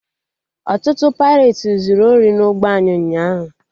Ọtụtụ paireti zuru ori na ụgbọ anyị ụnyaahụ